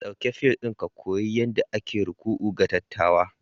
Ɗauki fil ɗin ka koyi yadda ake ruku'u ga dattawa